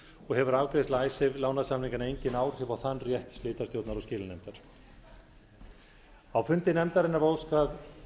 og hefur afgreiðsla icesave lánasamninganna engin áhrif á þann rétt slitastjórnar og skilanefndar á fundi í nefndinni var óskað